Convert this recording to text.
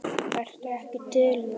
Ertu ekki til í það?